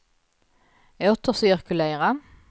återcirkulera